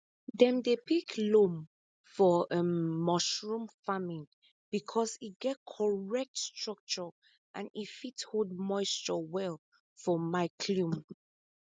dem dey pick loam for um mushroom farming because e get correct structure and e fit hold moisture well for mycelium